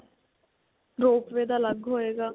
rope way ਦਾ ਅਲਗ ਹੋਏਗਾ.